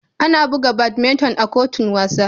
Ana buga badminton a kotun wasa.